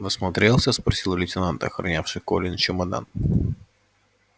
насмотрелся спросил лейтенант охранявший колин чемодан